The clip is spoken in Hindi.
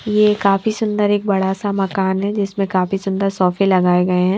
ये काफी सुंदर एक बड़ा सा मकान है जिसमें काफी सुंदर सोफे लगाए गए हैं।